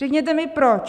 Řekněte mi, proč!